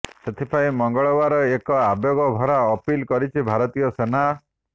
ସେଥିପାଇଁ ମଙ୍ଗଳବାର ଏକ ଆବେଗଭରା ଅପିଲ କରିଛି ଭାରତୀୟ ସେନା